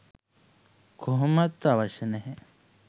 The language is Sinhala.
කොහොමත් අවශ්‍ය නැහැ.